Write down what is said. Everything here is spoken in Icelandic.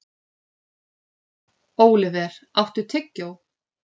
Óliver, áttu tyggjó?